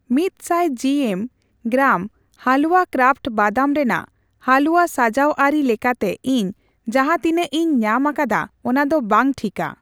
ᱢᱤᱛ ᱥᱟᱭ ᱡᱤᱮᱢ, ᱜᱨᱟᱢ ᱦᱟᱞᱣᱟ ᱠᱨᱟᱯᱷᱴ ᱵᱟᱫᱟᱢ ᱨᱮᱱᱟᱜ ᱦᱟᱞᱩᱣᱟ ᱥᱟᱡᱟᱣ ᱟᱨᱤ ᱞᱮᱠᱟᱛᱮ ᱤᱧ ᱡᱟᱦᱟ ᱛᱤᱱᱟᱜ ᱤᱧ ᱧᱟᱢ ᱟᱠᱟᱫᱟ ᱚᱱᱟᱫᱚ ᱵᱟᱝ ᱴᱷᱤᱠᱟ ᱾